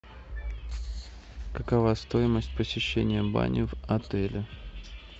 какова стоимость посещения бани в отеле